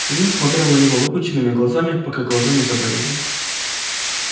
илья смотрел на него выпученными глазами пока глаза не заболели